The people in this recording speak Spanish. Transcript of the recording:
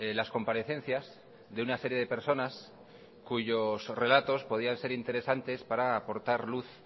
las comparecencias de una serie de personas cuyos relatos podían ser interesantes para aportar luz